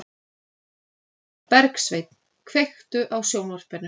Bergsveinn, kveiktu á sjónvarpinu.